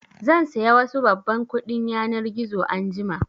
Zan saya wasu babban kuɗin yanar gizo anjima